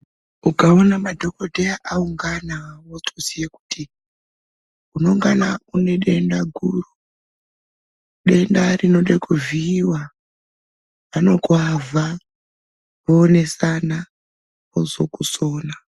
Ukaona madhokodheya aungana wotoziye kuti, unengana une denda guru, denda rinode kuvhiiwa. Vanokuavha, voonesana vozokusona.